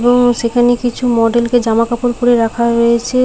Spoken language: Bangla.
সেখানে কিছু মডেল কে জামা কাপড় পরিয়ে রাখা হয়েছে।